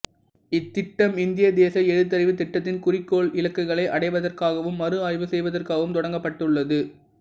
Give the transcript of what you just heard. இத்திட்டம் இந்திய தேசிய எழுத்தறிவுத் திட்டத்தின் குறிக்கோள் இலக்குகளை அடைவதற்காகவும் மறு ஆய்வு செய்வதற்காகவும் தொடங்கப்பட்டுள்ளது